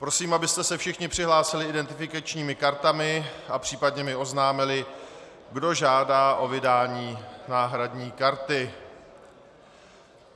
Prosím, abyste se všichni přihlásili identifikačními kartami a případně mi oznámili, kdo žádá o vydání náhradní karty.